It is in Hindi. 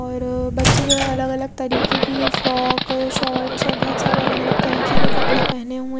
और बच्चे जो हैं अलग अलग तरीके की फ्रॉक शॉर्ट्स सब बहोत सारे अलग अलग तरीके के कपड़े पहने हुए--